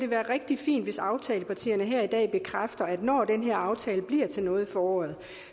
være rigtig fint hvis aftalepartierne her i dag bekræfter at når den her aftale bliver til noget i foråret